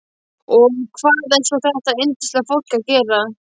Og hvað er svo þetta yndislega fólk að gera?